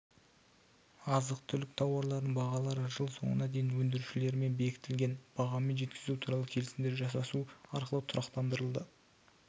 азық-түлік тауарларының бағалары жыл соңына дейін өндірушілермен бекітілген бағамен жеткізу туралы келісімдер жасасу арқылы тұрақтандырылды